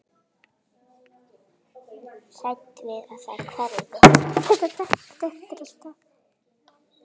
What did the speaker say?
Hrædd við að þær hverfi.